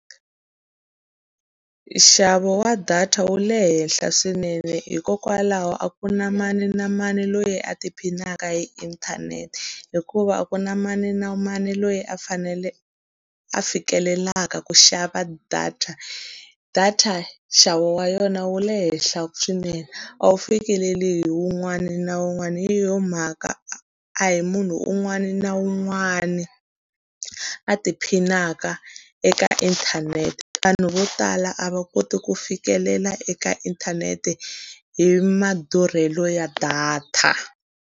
Nxavo wa data wu le henhla swinene hikokwalaho a ku na mani na mani loyi a ti phinaka hi inthanete, hikuva a ku na mani na mani loyi a fanele a fikelelaka ku xava data. Data nxavo wa yona wu le henhla swinene, a wu fikeleli hi wun'wana na wun'wana. Hi yona mhaka a hi munhu un'wana na un'wana a tiphinaka eka inthanete, vanhu vo tala a va koti ku fikelela eka inthanete hi madurhelo ya data.